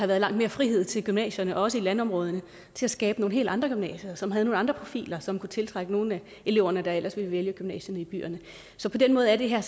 været langt mere frihed til gymnasierne også i landområderne til at skabe nogle helt andre gymnasier som havde nogle andre profiler som kunne tiltrække nogle af elever der ellers ville vælge gymnasierne i byerne så på den måde er det her